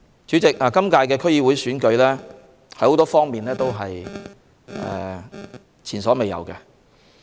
主席，今屆區議會選舉有很多方面是前所未有的。